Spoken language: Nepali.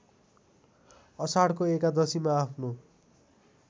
आषाढको एकादशीमा आफ्नो